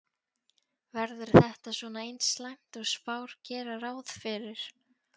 Verður þetta svona eins slæmt og spár gera ráð fyrir?